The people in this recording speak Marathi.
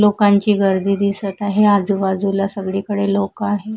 लोकांची गर्दी दिसत आहे आजूबाजूला सगळीकडे लोकं आहेत.